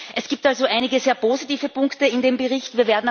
Es gibt also einige sehr positive Punkte in dem Bericht.